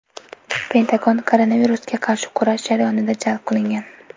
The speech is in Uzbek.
Pentagon koronavirusga qarshi kurash jarayoniga jalb qilingan .